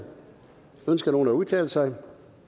ønsker nogen at udtale sig